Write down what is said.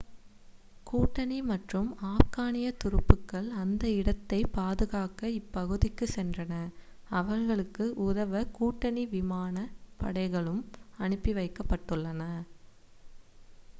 கூட்டணி மற்றும் ஆப்கானிய துருப்புக்கள் அந்த இடத்தைப் பாதுகாக்க இப்பகுதிக்குச் சென்றன அவர்களுக்கு உதவ கூட்டணி விமான படைகளும் அனுப்பி வைக்கபட்டுள்ளன